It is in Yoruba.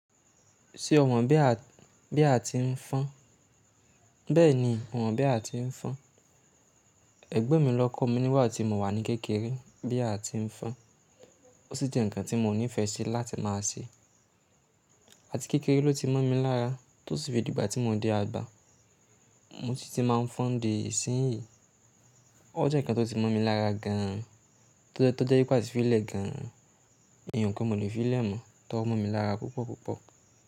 Ṣé o mọ̀ bí à tí ń fọ́n? Bẹ́ẹ̀ni mo mọ̀ bí à tí ń fọ́n. Ẹgbon mi ló kọ́ mi nígbà tí mo wà ní kékeré bí à tí ń fọ́n. Ó sì jẹ́ ǹkan tí mo nífẹẹ sí láti má a ṣe. Àti kékeré ló ti mọ́ mi lára tó sì dé ìgbà tí mo dé àgbà mo si ti máa n fọn di ìsínyìí. O jẹ́ ǹkan tó ti mọ̀ mi lára gan an, tó jẹ́ pé a ti filẹ̀ gan an. Èyí kò mọ̀ le filẹ̀ mọ́ tó mọ̀ mi lára púpọ̀ púpọ̀.